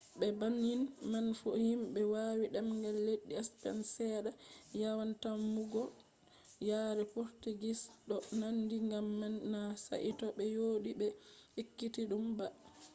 be bannin man fu himɓe wawi demgal leddi spen seɗɗa yawan tammugo yare potugis ɗo nandi gam man na saito ɓe joɗi ɓe ekkitiɗum ba